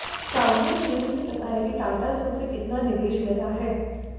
Xiaomi ने यह नहीं बताया कि टाटा से उसे कितना निवेश मिला है